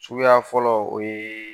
Suguya fɔlɔ o yee